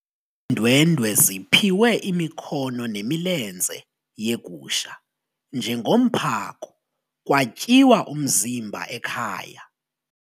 Iindwendwe ziphiwe imikhono nemilenze yegusha njengomphako kwatyiwa umzimba ekhaya.